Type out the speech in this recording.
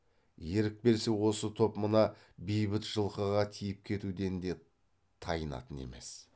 ерік берсе осы топ мына бейбіт жылқыға тиіп кетуден де тайынатын емес